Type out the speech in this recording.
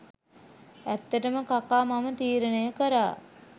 ඇත්තටම කකා මම තීරණය කරා